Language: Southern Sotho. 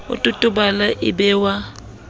o totobale e be wa